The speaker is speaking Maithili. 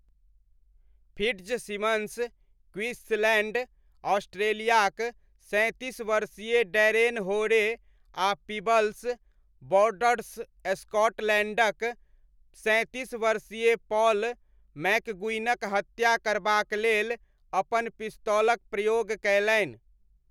फिट्ज़सिमन्स क्वींसलैण्ड, ऑस्ट्रेलियाक सैँतीस वर्षीय डैरेन होरे आ पीबल्स, बॉर्डर्स, स्कॉटलैण्डक सैँतीस वर्षीय पॉल मैकगुइगनक हत्या करबाक लेल अपन पिस्तौलक प्रयोग कयलनि।